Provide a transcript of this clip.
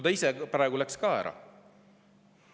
Ta ise läks ka praegu ära.